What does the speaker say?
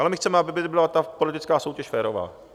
Ale my chceme, aby byla ta politická soutěž férová.